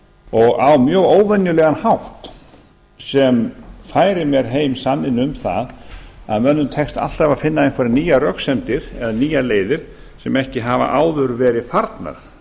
og á mjög óvenjulegan hátt sem færir heim sanninn um það að mönnum tekst alltaf að finna einhverjar nýjar röksemdir eða nýjar leiðir sem ekki hafa áður verið farnar